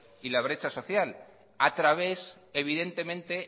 y la brecha social a través evidentemente